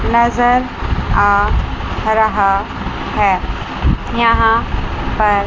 नजर आ रहा है यहां पर।